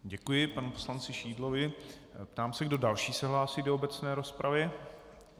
Děkuji panu poslanci Šidlovi a ptám, kdo další se hlásí do obecné rozpravy.